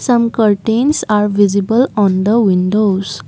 some curtains are visible on the windows.